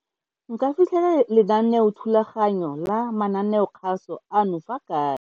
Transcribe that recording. Nka fitlhela lenaneothulaganyo la mananeokgaso ano fa kae?